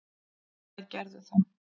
Þær gerðu það.